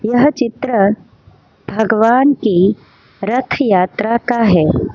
यह चित्र भगवान की रथ यात्रा का है।